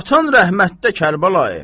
Atan rəhmətdə, Kərbəlayı!